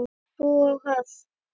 Þau búa á Höfn.